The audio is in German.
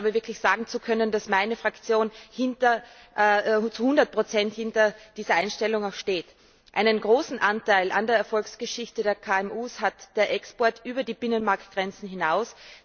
Ich glaube, wirklich sagen zu können, dass meine Fraktion auch zu 100 hinter dieser Einstellung steht. Einen großen Anteil an der Erfolgsgeschichte der KMU hat der Export über die Binnenmarktgrenzen hinaus.